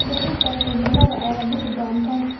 Berrito todobada ayaad bixi doontaa.